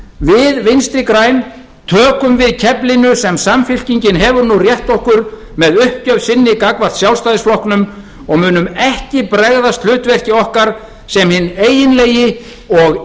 við vinstri græn tökum við keflinu sem samfylkingin hefur nú rétt okkur með uppgjöf sinni gagnvart sjálfstæðisflokknum og munum ekki bregðast hlutverki okkar sem hinn eiginlegi og